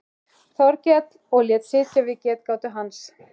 Þórkel og lét sitja við getgátu hans.